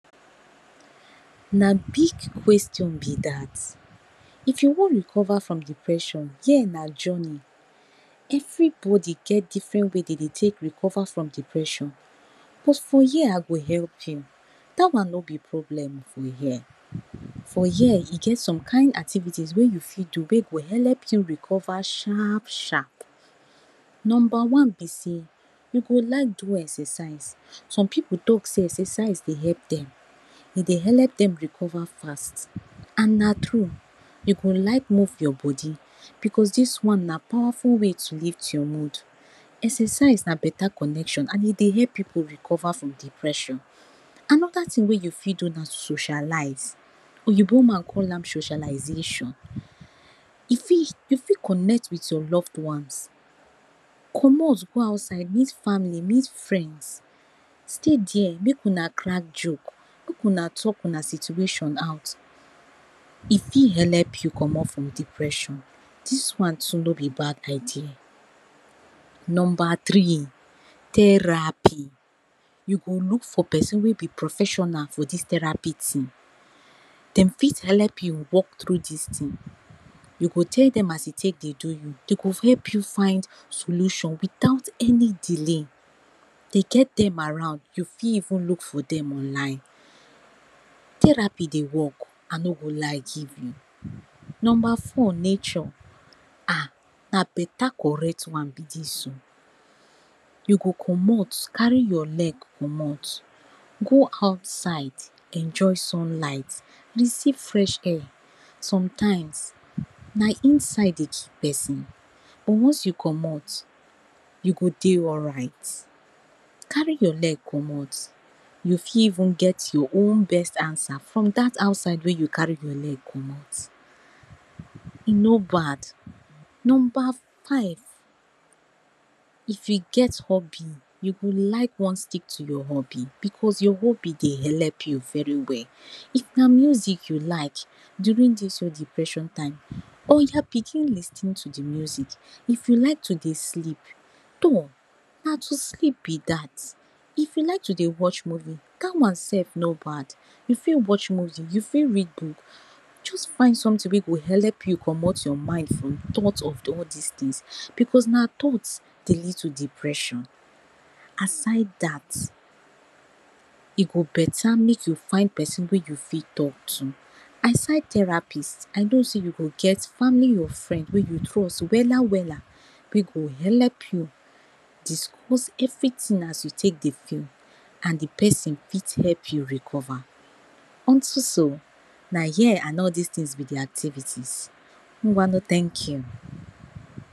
Na big question be dat, if you wan recover from depression here na journey. Everybody get different way wey dey dey take recover from depression but for here I go help you. Dat one no be problem for here. For here e get some kind activities wey you fit do wey go helep you recover sharp-sharp. Number one be sey, you go like do exercise, some pipu talk sey exercise dey help dem. E dey helep dem recover fast, and na true you go like move your bodi because dis one na pawaful way to lift your mood. Exercise na better connection and e dey help pipu recover from depression. Another thing wey you fit do na to socialize, oyinbo man call am socialization. E fit, you fit connect with your loved ones, commot go outside, meet family, meet friends, stay there make una crack joke, make una talk una situation out, e fit helep you commot from depression. Dis one too no be bad idea. Number three therapy, you go look for pesin wey be professional for dis therapy thing dem fit helep you walk through dis thing. You go tell dem as e take dey do you, dey go help you find solution without any delay. Dey get dem around, you fit even look for dem online. Therapy dey work I no go lie give you. Number four, Nature, ah na beta correct one be dis o, you go commot carry your leg commot go outside enjoy sunlight, receive fresh air. Sometimes na inside dey kill pesin, once you commot, you go dey alright. Carry your leg commot, you fit even get your own best answer from dat outside wey you carry your leg commot, e no bad. Number five, if you get hobby, you go like wan stick to your hobby, because your hobby e dey helep you very well. If na music you like during dis your depression time, oya begin lis ten to de music. If you like to dey sleep, tor na to sleep be dat. If you like to dey watch movie dat one sef no bad, you fit watch movie, you fit read book. Just find something wey go helep you commot your mind from thoughts of all dis things. Because na thoughts dey lead to depression. Aside dat, e go beta make you find pesin wey you fit talk to. Aside therapist I know sey you go get family or friends wey you trust wella-wella wey go helep you discuss everything as you take dey feel. And de pesin fit help you recover. On to so na here and all dis things be de activities. Ungwano thank you.